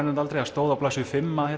reyndar aldrei það stóð á blaðsíðu fimm að